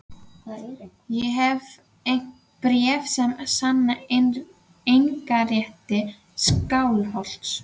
Ég hef bréf sem sanna eignarrétt Skálholts.